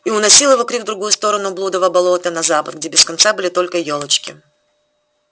и уносил его крик в другую сторону блудова болота на запад где без конца были только ёлочки